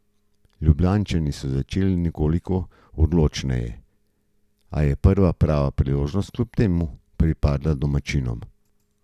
Ljubljančani so začeli nekoliko odločneje, a je prva prava priložnost kljub temu pripadla domačinom.